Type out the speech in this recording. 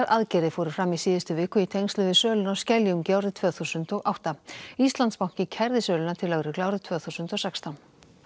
aðgerðir fóru fram í síðustu viku í tengslum við söluna á Skeljungi árið tvö þúsund og átta Íslandsbanki kærði söluna til lögreglu árið tvö þúsund og sextán